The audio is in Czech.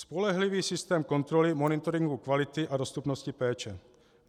Spolehlivý systém kontroly, monitoringu kvalitu a dostupnosti péče.